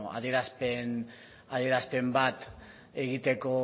adierazpen bat egiteko